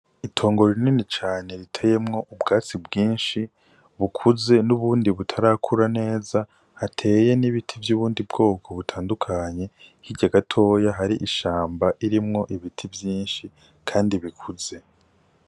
Itongo rinini cane riteyemwo ubwatsi bwinshi bukuze n'ubundi butarakura neza, hateye n'ibiti vy'ubundi bwoko butandukanye, hirya gatoya hari ishamba ririmwo ibiti vyinshi kandi bikuze.